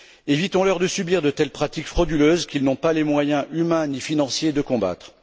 Évitons leur de subir de telles pratiques frauduleuses qu'ils n'ont pas les moyens humains ni financiers de combattre.